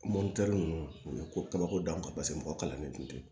ninnu u ye ko kabako d'anw kan paseke mɔgɔ kalannen tun tɛ